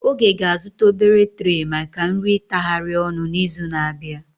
Oge ga-azụta obere treh maka nri itahari ọnu n'izu na-abịa.